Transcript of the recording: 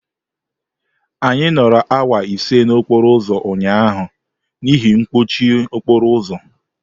Anyị nọrọ awa ise n'okporo ụzọ ụnyaahụ n'ihi mkpọchi okporo ụzọ.